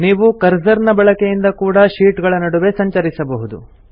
ನೀವು ಕರ್ಸರ್ ನ ಬಳಕೆಯಿಂದ ಕೂಡಾ ಶೀಟ್ ಗಳ ನಡುವೆ ಸಂಚರಿಸಬಹುದು